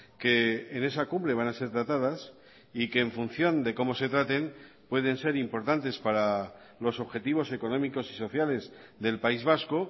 que en esa cumbre van a ser tratadas y que en función de cómo se traten pueden ser importantes para los objetivos económicos y sociales del país vasco